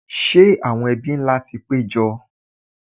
Ṣẹ́ àwọn ebí ńlá ti pé jọ?